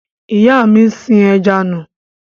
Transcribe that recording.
Ìyá mi sin ẹja nù.